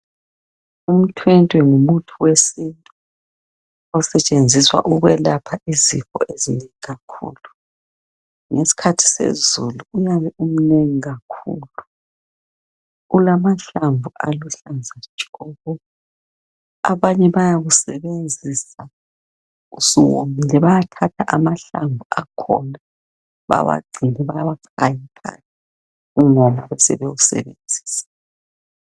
Umthwentwe ngumuthi wesintu, osetshenziswa ukwelapha izifo ezinengi kakhulu! Ngesikhathi sezulu, uyabe umnengi kakhulu! Ulamahlamvu aluhlaza tshoko! Abanye bayawusebenzisa usuwomile. Bayathatha amahlamvu akhona, bawagcine, bawachaye phandle. Ungoma, basebewusebenzisa